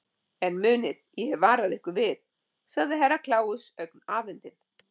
En munið, ég hef varað ykkur við, sagði Herra Kláus ögn afundinn.